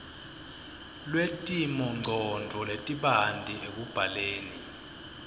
lwetimongcondvo letibanti ekubhaleni